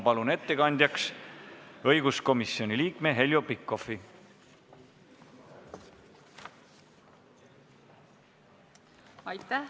Palun ettekandjaks õiguskomisjoni liikme Heljo Pikhofi.